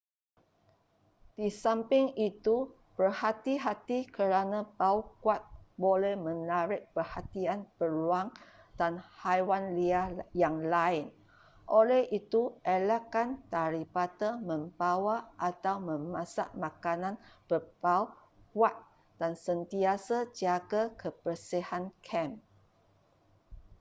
di samping itu berhati-hati kerana bau kuat boleh menarik perhatian beruang dan haiwan liar yang lain oleh itu elakkan daripada membawa atau memasak makanan berbau kuat dan sentiasa jaga kebersihan kem